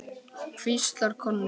hvíslar Konni.